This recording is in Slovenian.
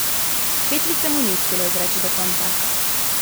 Kletvice mu ni uspelo izreči do konca.